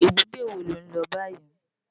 Ébùté wó ló n lò bàyí?